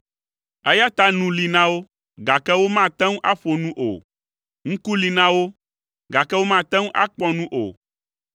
eya ta nu li na wo, gake womate ŋu aƒo nu o, ŋku li na wo, gake womate ŋu akpɔ nu o;